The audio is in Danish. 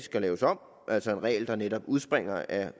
skal laves om altså en regel der netop udspringer af